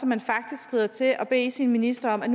man faktisk skrider til at bede sin minister om at